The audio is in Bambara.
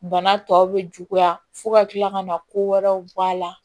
Bana tɔw bɛ juguya fo ka kila ka na ko wɛrɛw bɔ a la